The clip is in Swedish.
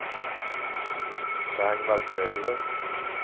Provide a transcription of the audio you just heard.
Ragnvald Grönlund